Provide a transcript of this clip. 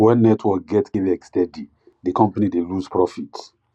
when network get kleg steady di company dey lose profit